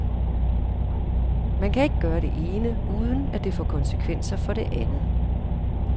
Man kan ikke gøre det ene, uden at det får konsekvenser for det andet.